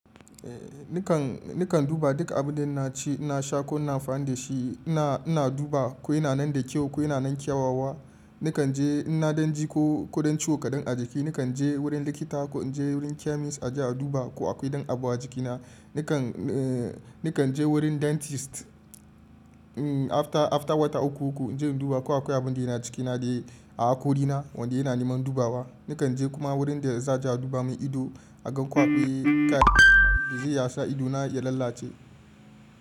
Eh nikan, nikan duba duk abun da naci, na sha ko na faɗi da shi. Ina, ina duba ko yana nan da kyau ko yana nan kyawawa. Nikan je ina dan ji ko, ko dan ciwo kaɗan a jiki. Nikan je wurin likita ko in je wurin chemist a ji a duba ko akwai dan abu a jikina. Nikan, eh nikan je wurin dentist. Mm after, after wata uku uku in je in duba ko akwai abun da yana cikina da a hakorina wanda yana neman dubawa. Nikan je kuma wurin da zai ja duba min ido, a gan ko akwai kai zai yasa idona ya lalace.